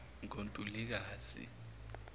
ngontulikazi